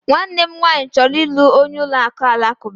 Nwannem nwanyi choro ilu onye uka Alakuba